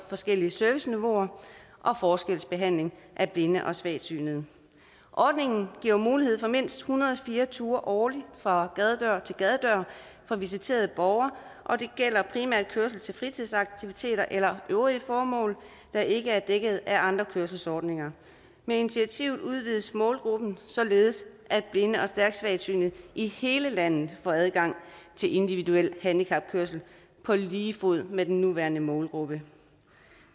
forskellige serviceniveauer og forskelsbehandling af blinde og svagsynede ordningen giver mulighed for mindst en hundrede og fire ture årligt fra gadedør til gadedør for visiterede borgere og det gælder primært kørsel til fritidsaktiviteter eller øvrige formål der ikke er dækket af andre kørselsordninger med initiativet udvides målgruppen således at blinde og stærkt svagsynede i hele landet får adgang til individuel handicapkørsel på lige fod med den nuværende målgruppe